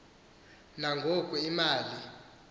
na ngoku imali